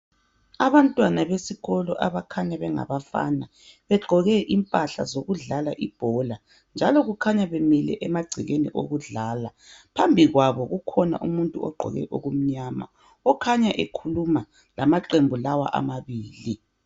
Abantwana besikolo abakhanya bengabafana begqoke impahla zokudlala ibola njalo kukhanya bemile emagcekeni okudlala. Phambi kwabo kukhona umuntu ogqoke okumnyama okhanya ekhuluma lamaqembu lawa amabili.